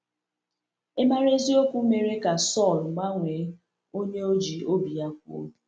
Ịmara eziokwu mere ka Saul gbanwee onye o ji obi ya kwụ.